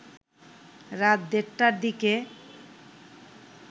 রাত দেড়টার দিকে